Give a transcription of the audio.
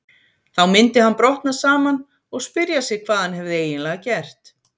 Þá myndi hann brotna saman og spyrja sig hvað hann hefði eiginlega gert.